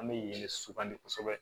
An bɛ yen le sugandi kosɛbɛ